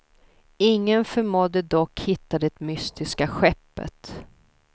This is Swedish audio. Ingen förmådde dock hitta det mystiska skeppet.